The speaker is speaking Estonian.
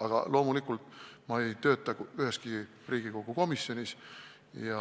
Aga kuna ma ei tööta üheski Riigikogu komisjonis, ei